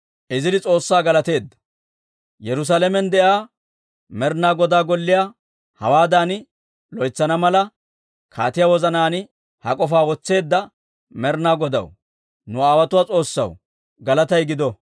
Yerusaalamen de'iyaa Med'ina Godaa Golliyaa hawaadan loytsana mala, kaatiyaa wozanaan ha k'ofaa wotseedda Med'ina Godaw, nu aawotuwaa S'oossaw galatay gido!